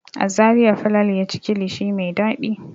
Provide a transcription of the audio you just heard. A Zariya Falalu ya ci kilishi mai dadi.